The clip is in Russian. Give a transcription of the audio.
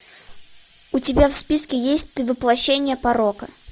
у тебя в списке есть ты воплощение порока